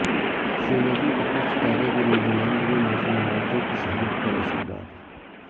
showbiz و cricket ستارے بھی نیوزی لینڈ میں معصوم نمازیوں کی شہادت پر اشکبار